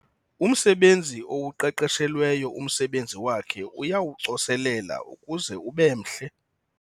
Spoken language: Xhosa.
Umsebenzi owuqeqeshelweyo umsebenzi wakhe uyawucoselela ukuze ube mhle.